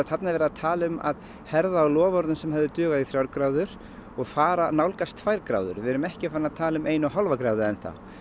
þarna er verið að tala um að herða á loforðum sem sem hefðu dugað í þrjár gráður og fara að nálgast tvær gráður við erum ekki farin að tala um eina og hálfa gráðu enn þá